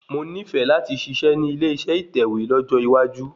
Mo nífẹ̀ẹ́ láti ṣiṣẹ́ nílé ìṣe ìtẹ̀wẹ́ lọ́jọ́ iwájú